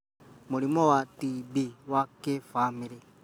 Mũrimũ wa TB wa kĩbamĩrĩ